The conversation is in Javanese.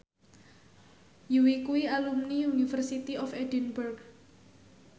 Yui kuwi alumni University of Edinburgh